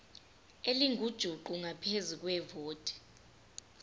elingujuqu ngaphezu kwevoti